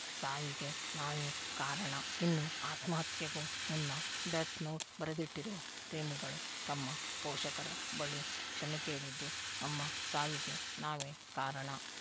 ಸಾವಿಗೆ ನಾವೇ ಕಾರಣ ಇನ್ನು ಆತ್ಮಹತ್ಯೆಗೂ ಮುನ್ನ ಡೆತ್‌ನೋಟ್‌ ಬರೆದಿಟ್ಟಿರುವ ಪ್ರೇಮಿಗಳು ತಮ್ಮ ಪೋಷಕರ ಬಳಿ ಕ್ಷಮೆ ಕೇಳಿದ್ದು ನಮ್ಮ ಸಾವಿಗೆ ನಾವೇ ಕಾರಣ